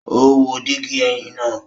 O wo digi ẹhin naa